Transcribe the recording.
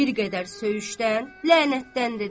Bir qədər söyüşdən lənətdən dedi.